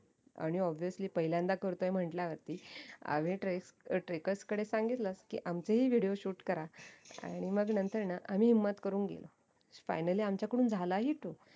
आणि obivously पहिल्यांदा करतोय म्हण्टल्यावरती आम्ही trackers कडे सांगितलं कि आमचे ही video shoot करा आणि मग नंतरऐना आम्ही हिंमत करून गेलो finally आमच्याकडून झाला ही तो